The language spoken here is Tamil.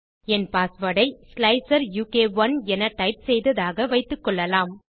என் பாஸ்வேர்ட் ஐ ஸ்லைசர் உ க் 1 என டைப் செய்ததாக வைத்துக்கொள்ளலாம்